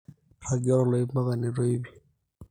ragie toloip mpaka netoyu piipii